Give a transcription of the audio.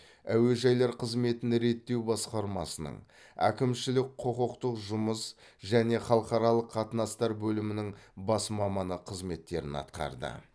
әуежайлар қызметін реттеу басқармасының әкімшілік құқықтық жұмыс және халықаралық қатынастар бөлімінің бас маманы қызметтерін атқарды